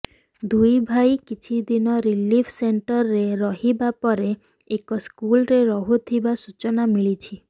ଦୁଇ ଭାଇ କିଛି ଦିନ ରିଲିଫ୍ ସେଣ୍ଟରରେ ରହିବା ପରେ ଏକ ସ୍କୁଲରେ ରହୁଥିବା ସୂଚନା ମିଳିଛି